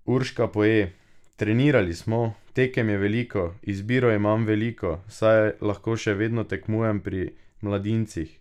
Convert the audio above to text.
Urška Poje: "Trenirali smo, tekem je veliko, izbiro imam veliko, saj lahko še vedno tekmujem pri mladincih.